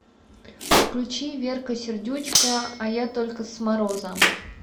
включи верка сердючка а я только с мороза